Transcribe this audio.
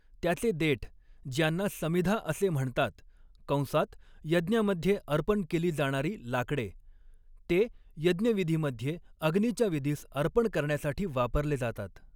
त्याचे देठ, ज्यांना समीधा असे म्हणतात कंसात यज्ञामध्ये अर्पण केली जाणारी लाकडे ते यज्ञविधीमध्ये अग्नीच्या विधीस अर्पण करण्यासाठी वापरले जातात.